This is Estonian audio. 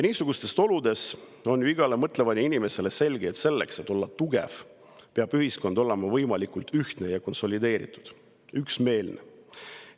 Niisugustes oludes on ju igale mõtlevale inimesele selge, et selleks, et olla tugev, peab ühiskond olema võimalikult ühtne ja konsolideeritud, üksmeelne.